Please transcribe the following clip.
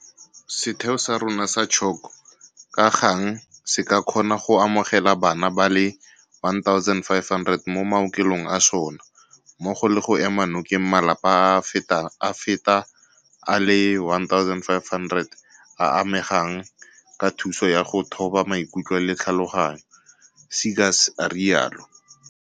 Setheo sa rona sa CHOC ka gang se ka kgona go amogela bana ba le 1 500 mo maokelong a sona, mmogo le go ema nokeng malapa a a feta a le 1 500 a a amegang ka thuso ya go thoba maikutlo le tlhaloganyo, Seegers a rialo.